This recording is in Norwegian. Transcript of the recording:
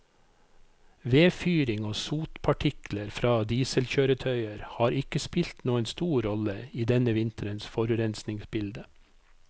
Vedfyring og sotpartikler fra dieselkjøretøyer har ikke spilt noen stor rolle i denne vinterens forurensningsbilde.